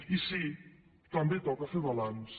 i sí també toca fer balanç